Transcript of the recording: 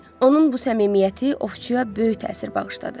Onun bu səmimiyyəti ovçuya böyük təsir bağışladı.